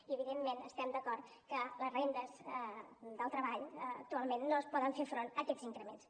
i evidentment estem d’acord que les rendes del treball actualment no poden fer front a aquests increments